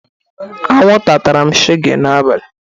Akwunta tara m shege n'abalị